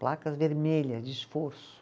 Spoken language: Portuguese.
Placas vermelhas, de esforço.